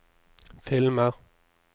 filmer